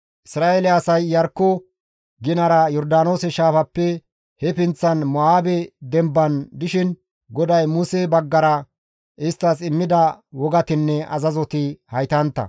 Isra7eele asay Iyarkko ginara Yordaanoose shaafappe he pinththan Mo7aabe demban dishin GODAY Muse baggara isttas immida wogatinne azazoti haytantta.